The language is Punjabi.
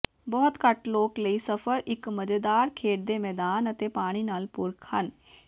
ਬਹੁਤ ਘੱਟ ਲੋਕ ਲਈ ਸਫਰ ਇੱਕ ਮਜ਼ੇਦਾਰ ਖੇਡ ਦੇ ਮੈਦਾਨ ਅਤੇ ਪਾਣੀ ਨਾਲ ਪੂਰਕ ਹਨ